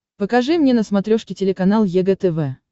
покажи мне на смотрешке телеканал егэ тв